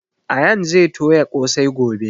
Ayaan zai toya ƙosai gobe